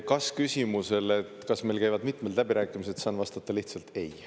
Kas-küsimusele, et kas meil käivad mitmed läbirääkimised, saan vastata lihtsalt: ei.